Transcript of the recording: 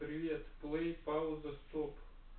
привет плей пауза стоп